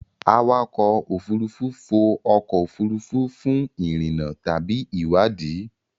Awakọ̀ òfurufú fò ọkọ̀ òfurufú fún ìrìnnà tàbí ìwádìí.